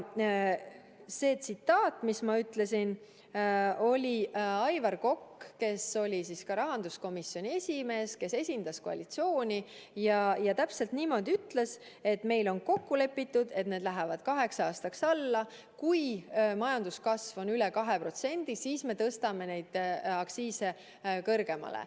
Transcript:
See tsitaat, mis ma ütlesin, oli Aivar Kokalt, kes oli ka rahanduskomisjoni esimees, kes esindas koalitsiooni ja ütles, et teil on kokku lepitud, et need lähevad kaheks aastaks alla ja kui majanduskasv on üle 2%, siis tõstate aktsiise kõrgemale.